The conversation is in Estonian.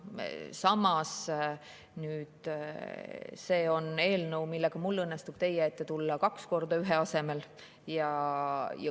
Samas, selle eelnõuga õnnestub mul teie ette tulla kaks korda ühe korra asemel.